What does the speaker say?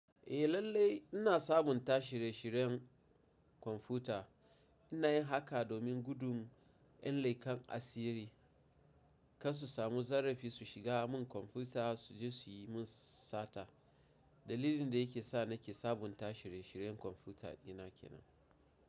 Eh lallai ina sabunta shirye-shiryen kwamfuta. Ina yin haka domin gudun ƴan laikan asiri kan su samu zarafi su shiga mun kwamfuta su je su yi mun sata. Dalilin da yake sa nake sabunta shirye-shiryen kwamfuta ina kenan.